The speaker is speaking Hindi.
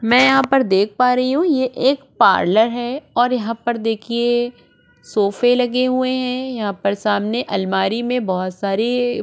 मैं यहाँ पर देख पा रही हूँ ये एक पार्लर है और यहाँ पर देखिए सोफे लगे हुए हैं यहाँ पर सामने अलमारी में बहुत सारी --